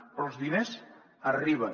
però els diners arriben